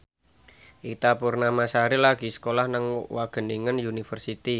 Ita Purnamasari lagi sekolah nang Wageningen University